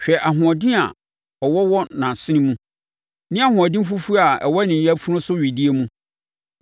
Hwɛ ahoɔden a ɔwɔ wɔ nʼasene mu ne ahoɔden fufuo a ɛwɔ ne yafunu so wedeɛ mu!